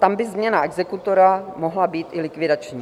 Tam by změna exekutora mohla být i likvidační.